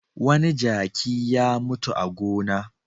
Wani jaki ya mutu a gona.